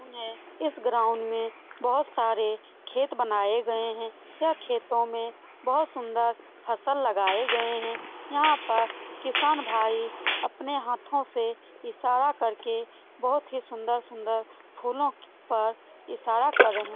गराउन है इस गराउन में बहुत सारे खेत बनाये गए है यह खेतों में बहुत सुन्दर फ़सल लगाए गए है यहाँ पर किसान भाई अपने हाथो से ईशारा करके बहुत ही सुन्दर-सुन्दर फुल्लों पर ईशारा कर रहे--